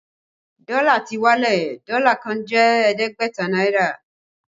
Dọ́là ti wálẹ̀, Dọ́là kan jẹ́ ẹ̀ẹ́dẹ́gbẹ̀ta náírà